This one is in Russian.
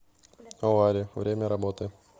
олари время работы